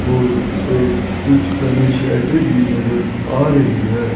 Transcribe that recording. और एक कुछ बने शटर की नजर आ रही है।